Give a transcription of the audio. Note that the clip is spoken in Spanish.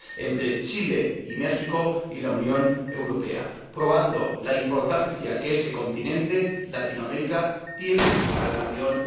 entre Chile y México y la Unión Europea, probando la importancia que ese continente, Latinoamérica, tiene para la Unión.